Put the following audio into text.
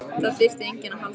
Það þyrfti enginn að halda að